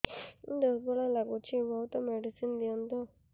ଦୁର୍ବଳ ଲାଗୁଚି ବହୁତ ମେଡିସିନ ଦିଅନ୍ତୁ